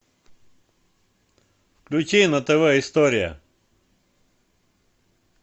включи на тв история